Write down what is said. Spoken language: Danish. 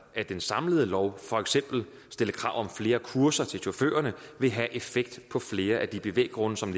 af den samlede lov for eksempel stilles krav om flere kurser til chaufførerne vil have effekt på flere af de bevæggrunde som